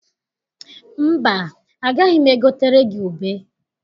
Mba, agaghị m egotere gị ube.